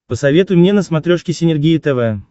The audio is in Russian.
посоветуй мне на смотрешке синергия тв